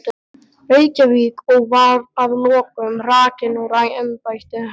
Reykjavík, og var að lokum hrakinn úr embætti.